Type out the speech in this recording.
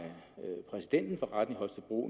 præsidenten for retten i holstebro